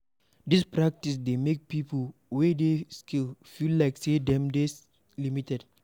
This practice dey make pipo wey dey skilled feel like sey dem dey limited